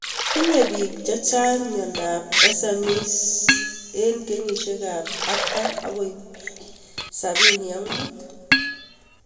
Tinye pik chechang' miondop SMECE eng' kenyishek ab 40 akoi 75